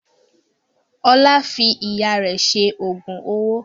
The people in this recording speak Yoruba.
Ọlá fi Ìyá rẹ̀ ṣe oògùn owó